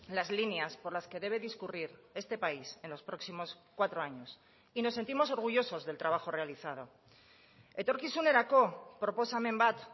las líneas por las que debe discurrir este país en los próximos cuatro años y nos sentimos orgullosos del trabajo realizado etorkizunerako proposamen bat